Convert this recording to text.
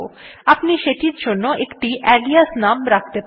আপনি সেটির জন্য একটি আলিয়াস নাম রাখতে পারেন